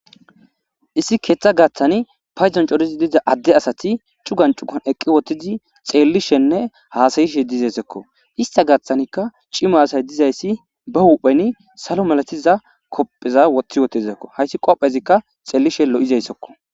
Issi ketha gathan payidon coora ekiza asay eqi utidi xelishenee hasa'ishe dizayisako isita gathanika cima asay dizayis ba hupheni salo malatiza qopheza wothi utidesiko hayis qophezi xelishin lo'izayisako